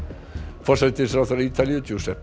forsætisráðherra Ítalíu